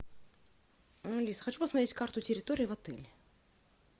алис хочу посмотреть карту территории в отеле